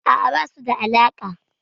A'a, ba su da alaƙa.